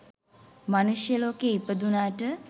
මනුෂ්‍ය ලෝකයේ ඉපදුනාට,